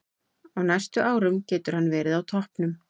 Á næstu árum getur hann verið á toppnum.